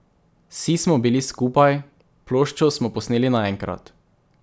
Vsi smo bili skupaj, ploščo smo posneli naenkrat.